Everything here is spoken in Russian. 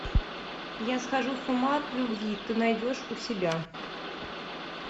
я схожу с ума от любви ты найдешь у себя